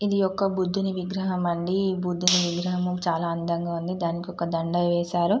ఇది ఒక బుద్ధిది విగ్రహం అండి ఈ బుద్ది విగ్రహం చాలా అందంగా ఉంది దానికి ఒక దండ వేశారు --